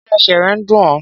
Ṣé ẹsẹ̀ rẹ̀ ń dún ọ?